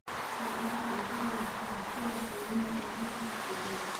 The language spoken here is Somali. Isticmaal cuntada lafaha sida quudin dheeraad ah digaagga.